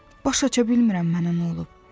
Başaça bilmirəm mənə nə olub.